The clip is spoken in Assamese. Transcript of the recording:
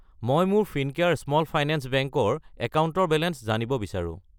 মই মোৰ ফিনকেয়াৰ স্মল ফাইনেন্স বেংক ৰ একাউণ্টৰ বেলেঞ্চ জানিব বিচাৰো।